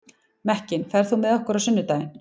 Mekkin, ferð þú með okkur á sunnudaginn?